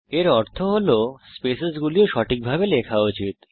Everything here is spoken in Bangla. এর অর্থ হল যে স্পেসেসগুলি ও সঠিকভাবে লেখা উচিত